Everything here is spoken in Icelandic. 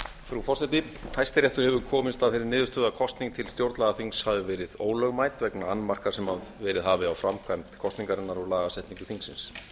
frú forseti hæstiréttur hefur komist að þeirri niðurstöðu að kosning til stjórnlagaþings hafi verið ólögmæt vegna annmarka sem verið hafi á framkvæmd kosningarinnar og lagasetningu þingsins